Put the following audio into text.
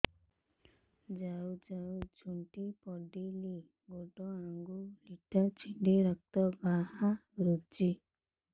ଯାଉ ଯାଉ ଝୁଣ୍ଟି ପଡ଼ିଲି ଗୋଡ଼ ଆଂଗୁଳିଟା ଛିଣ୍ଡି ରକ୍ତ ବାହାରୁଚି